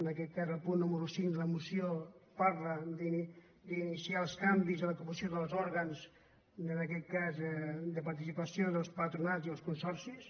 en aquest cas el punt número cinc de la mo·ció parla d’iniciar els canvis en la composició dels òr·gans en aquest cas de participació dels patronats i els consorcis